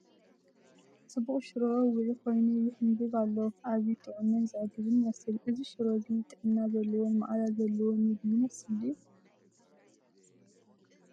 ጽቡቕ ሽሮ ውዑይ ኮይኑ ይሕንበብ ኣሎ። ኣዝዩ ጥዑምን ዘዕግብን ይመስል። እዚ ሽሮ እዚ ጥዕና ዘለዎን መኣዛ ዘለዎን መግቢ ይመስል ድዩ?